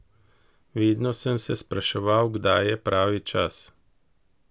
Vedno sem se spraševal, kdaj je pravi čas?